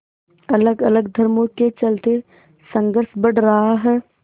अलगअलग धर्मों के चलते संघर्ष बढ़ रहा है